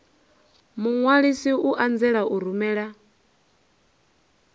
muṅwalisi i anzela u rumela